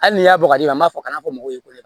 Hali n'i y'a bagaji an b'a fɔ kana fɔ mɔgɔw ye